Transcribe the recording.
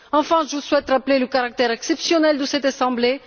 Enfin, je souhaite rappeler le caractère exceptionnel de cette assemblée.